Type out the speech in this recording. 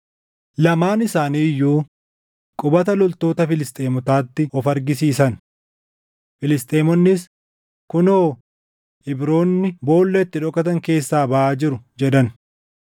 Lamaan isaanii iyyuu qubata loltoota Filisxeemotaatti of argisiisan. Filisxeemonnis, “Kunoo! Ibroonni boolla itti dhokatan keessaa baʼaa jiru” jedhan.